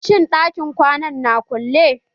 Shin ɗakin kwanan na kulle?